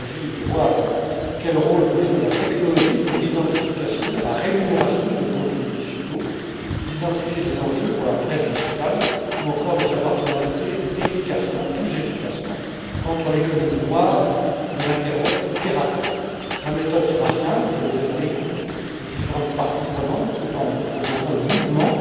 Il s'agit de voir quel rôle peut jouer la technologie dans l'identification et la rémunération des contenus numériques, d'identifier les enjeux de la presse numérique ou encore de savoir comment lutter plus efficacement contre l'économie noire de l'internet piraté. Ma méthode sera simple je veux être à l'écoute des différentes parties intéressées tout en vous proposant le mouvement.